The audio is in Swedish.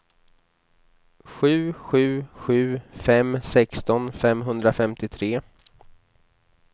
sju sju sju fem sexton femhundrafemtiotre